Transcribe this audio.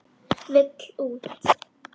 Vill út.